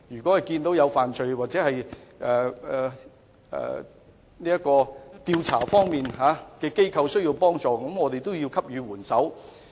當得悉有罪案或有調查機構需要幫助時，便應該給予援手。